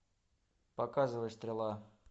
показывай стрела